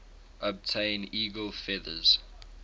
obtain eagle feathers